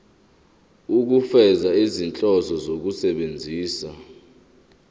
ukufeza izinhloso zokusebenzisa